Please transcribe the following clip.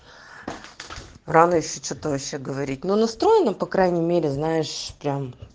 рано ещё че-то вообще говорить но настроена по крайней мере знаешь прям